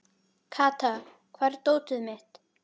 Kata, hvar er dótið mitt?